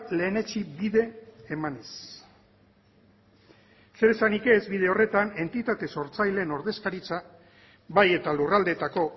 lehenetsi bide emanez zer esanik ez bide horretan entitate sortzaileen ordezkaritza bai eta lurraldetako